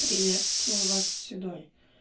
приветствую вас седой